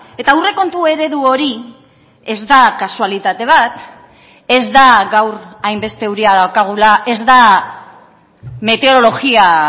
eta aurrekontu eredu hori ez da kasualitate bat ez da gaur hainbeste euria daukagula ez da meteorologia